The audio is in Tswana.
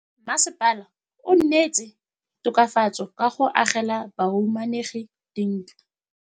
Mmasepala o neetse tokafatsô ka go agela bahumanegi dintlo.